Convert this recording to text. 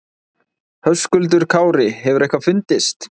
Höskuldur Kári: Hefur eitthvað fundist?